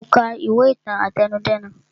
Mo ka ìwé ìtàn àtẹnudẹ́nu